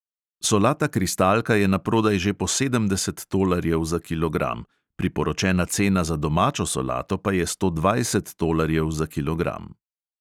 Solata kristalka je naprodaj že po sedemdeset tolarjev za kilogram, priporočena cena za domačo solato pa je sto dvajset tolarjev za kilogram.